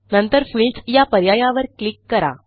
नंतरFields या पर्यायावर क्लिक करा